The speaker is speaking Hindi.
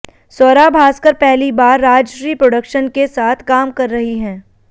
स्वरा भास्कर पहली बार राजश्री प्रोडक्शन के साथ काम कर रही हैं